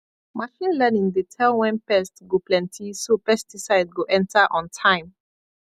machine learning dey tell when pest go plenty so pesticide go enter on time